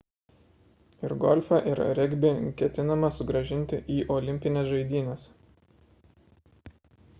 ir golfą ir regbį ketinama sugrąžinti į olimpines žaidynes